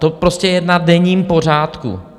To prostě je na denním pořádku.